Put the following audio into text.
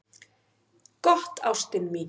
"""Gott, ástin mín."""